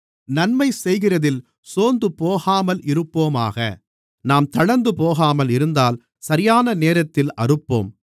நன்மைசெய்கிறதில் சோர்ந்துபோகாமல் இருப்போமாக நாம் தளர்ந்துபோகாமல் இருந்தால் சரியான நேரத்தில் அறுப்போம்